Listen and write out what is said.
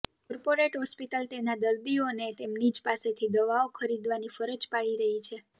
corporate hospital તેના દર્દીઓને તેમની જ પાસેથી દવાઓ ખરીદવાની ફરજ પાડી રહી છે